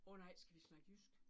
Åh nej, skal vi snakke jysk?